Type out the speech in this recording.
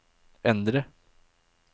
endre